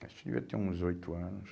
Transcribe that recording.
Acho que devia ter uns oito anos.